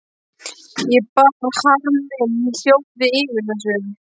Ég bar harm minn í hljóði yfir þessu.